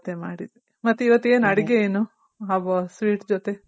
ಹ ಇವತ್ತೇ ಮಾಡಿದ್ವಿ ಮತ್ ಇವತ್ತೇನ್ ಅಡಿಗೆ ಏನು ಆ sweet ಜೊತೆ.